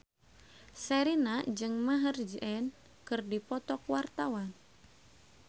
Sherina jeung Maher Zein keur dipoto ku wartawan